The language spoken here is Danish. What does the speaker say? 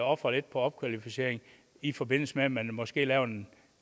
ofre lidt på opkvalificering i forbindelse med at man måske laver en